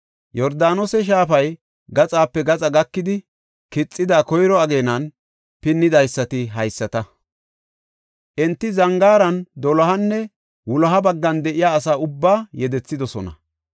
Yordaanose shaafay, gaxape gaxa gakidi kixida koyro ageenan pinnidaysati haysata. Enti zangaaran dolohanne wuloha baggan de7iya asaa ubbaa yedethidosona.